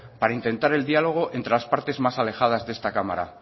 para intentar el diálogo entre las partes más alejadas de esta cámara